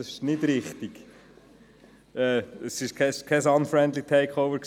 Das ist nicht richtig, aber es war kein «unfriendly takeover».